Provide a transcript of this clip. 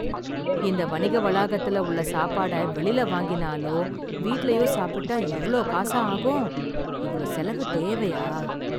இந்த வணிக வளாகத்துல உள்ள சாப்பாட வெளில வாங்கினாலோ வீட்லயோ சாப்பிட்டா இவ்ளோ காசா ஆகும்? இவ்ளோ செலவு தேவையா?